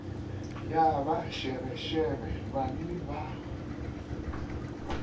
ya ba šebešebe banwi ba